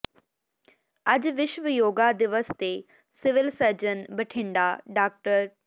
ਅੱਜ ਵਿਸ਼ਵ ਯੋਗਾ ਦਿਵਸ ਤੇ ਸਿਵਲ ਸਰਜਨ ਬਠਿੰਡਾ ਡਾ